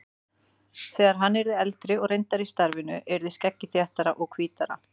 Þegar hann yrði eldri og reyndari í starfinu yrði skeggið þéttara og hvítara.